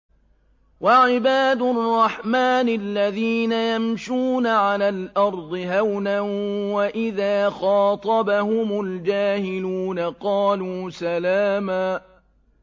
وَعِبَادُ الرَّحْمَٰنِ الَّذِينَ يَمْشُونَ عَلَى الْأَرْضِ هَوْنًا وَإِذَا خَاطَبَهُمُ الْجَاهِلُونَ قَالُوا سَلَامًا